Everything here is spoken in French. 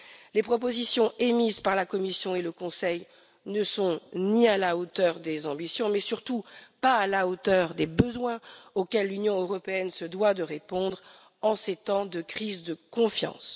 Les propositions émises par la Commission et le Conseil ne sont ni à la hauteur des ambitions, ni à la hauteur des besoins auxquels l'Union européenne se doit de répondre en ces temps de crise de confiance.